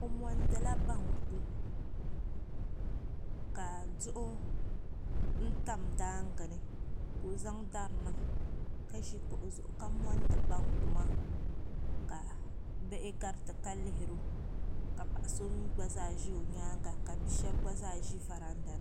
O mondi la banku ka duɣu tam daangi ni ka o zaŋ dari n niŋ ka zi kuɣu zuɣu ka mondi banku maa ka bihi gariti ka lihiri o ka paɣa so mi gba zaa zi o yɛanga ka bia shɛba gba zaa zi varanda ni .